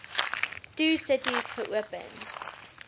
two cities geopen